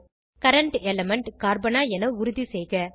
current element கார்பனா என உறுதிசெய்க